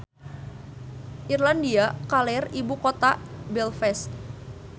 Irlandia Kaler ibu kotana Belfast.